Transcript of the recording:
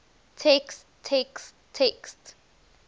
text text text